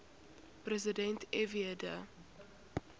president fw de